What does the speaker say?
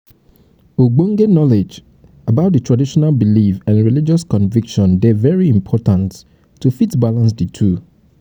ogbonge knowledge about di traditional belief and religious conviction dey very important to fit balance di two